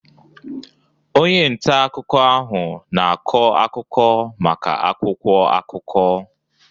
Onye nta akụkọ ahụ na-akọ akụkọ maka akwụkwọ akụkọ